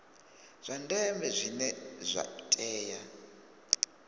zwa ndeme zwine zwa tea